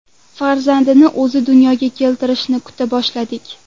Farzandini o‘zi dunyoga keltirishini kuta boshladik.